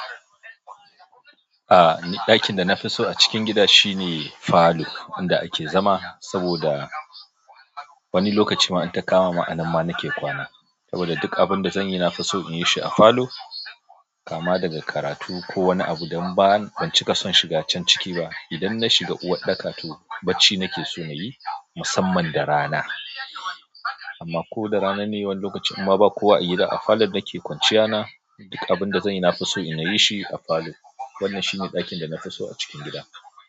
A, ni ɗakin da na fi so a cikin gida shine falo inda ake zama, saboda. Wani lokaci ma in ta kama ma anan ma nake kwana. Saboda duk abinda zan yi na fi so in yi shi a falo. Kama daga karatu ko wani abu don ba ban cika son shiga can ciki ba. Idan na shiga uwarɗaka to bacci nake so na yi, musamman da rana. Amma ko da rana ne wani lokaci imma ba kowa a gida a falon nake kwanciya na. Duk abinda zan yi na fi so in yi shi a falo. Wannan shine ɗakin da na fi so a cikin gida.